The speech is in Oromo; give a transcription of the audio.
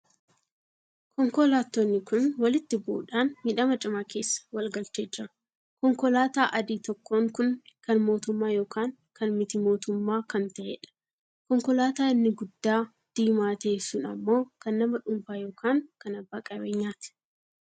Konkolaattoonni kun walitti bu'uudhan miidhama cimaa keessa wal galchee jira. konkolaataa adii tokkoon kun kan mootummaa ykn kan miti mootummaa kan taheedha. konkolaataa inni guddaa diimaa tahee sun ammoo kan nama dhuunfaa ykn kan abbaa qabeenyaati.